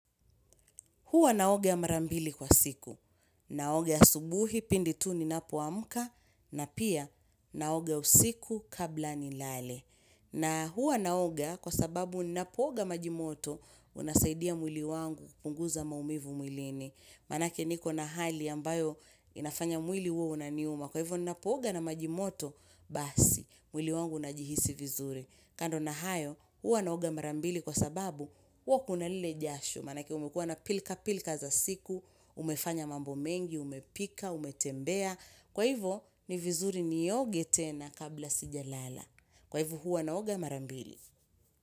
Huwa naoga mara mbili kwa siku. Naoga asubuhi, pindi tu ninapoamka, na pia naoga ya usiku kabla nilale. Na huwa naoga kwa sababu ninapooga maji moto unasaidia mwili wangu kupunguza maumivu mwilini. Manake nikona hali ambayo inafanya mwili huo unaniuma. Kwa hivyo ninapooga na majimoto basi, mwili wangu unajihisi vizuri. Kando na hayo, huwa naoga marambili kwa sababu hua kuna lile jasho. Manake umekuwa na pilka-pilka za siku, umefanya mambo mengi, umepika, umetembea. Kwa hivyo, ni vizuri nioge tena kabla sijalala. Kwa hivyo, huwa naoga mara mbili.